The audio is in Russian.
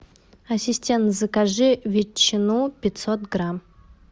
ассистент закажи ветчину пятьсот грамм